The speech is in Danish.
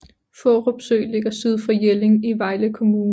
Fårup Sø ligger syd for Jelling i Vejle Kommune